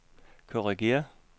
korrigér